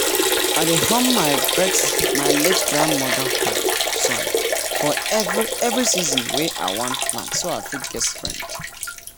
i dey hum my late grandmama hoe song for every every season wey i wan plant so i fit get strength.